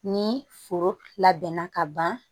Ni foro labɛnna ka ban